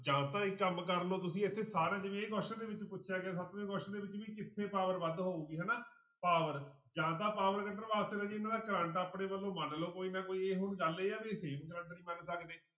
ਜਾਂ ਤਾਂ ਇੱਕ ਕੰਮ ਕਰ ਲਓ ਤੁਸੀਂ ਇੱਥੇ ਇਹ question ਦੇ ਵਿੱਚ ਪੁੱਛਿਆ ਗਿਆ ਸੱਤਵੇਂ question ਦੇ ਵਿੱਚ ਵੀ ਕਿੱਥੇ power ਵੱਧ ਹੋਊਗੀ ਹਨਾ power ਜਾਂ ਤਾਂ power ਕੱਢਣ ਵਾਸਤੇ ਰਾਜੇ ਇਹਨਾਂ ਦਾ ਕਰੰਟ ਆਪਣੇ ਵੱਲੋਂ ਮੰਨ ਲਓ ਕੋਈ ਨਾ ਕੋਈ ਇਹ ਹੁਣ ਗੱਲ ਇਹ ਆ ਵੀ same ਕਰੰਟ ਨੀ ਮੰਨ ਸਕਦੇ।